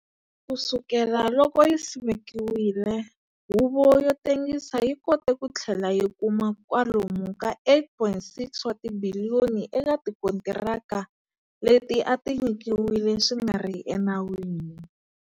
Ku sukela loko yi simekiwile, Huvo yo Tengisa yi kote ku tlhela yi kuma kwalomu ka R8.6 wa tibiliyoni eka tikontiraka leti a ti nyikiwile swi nga ri enawini.